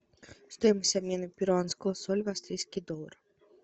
стоимость обмена перуанского соля в австрийский доллар